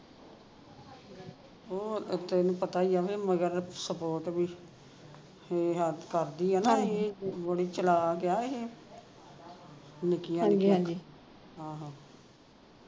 ਹੋਰ ਤੈਨੂੰ ਪਤਾ ਈ ਵੀ ਮਗਰ support ਵੀ ਕਰਦੀ ਆ ਨਾ ਇਹ ਬੜੀ ਚਲਾਕ ਆ ਇਹ ਨਿੱਕਿਆ ਹਾਂ ਹਾਂ